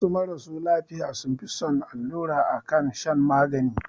Wasu marasu lafiya sun fi son allura akan shan magani